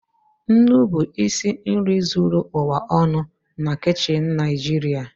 Nnu bụ isi nri zuru ụwa ọnụ na kichin Naịjirịa.